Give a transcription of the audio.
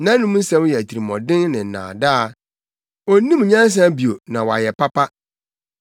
Nʼanom nsɛm yɛ atirimɔden ne nnaadaa; onnim nyansa bio na wayɛ papa.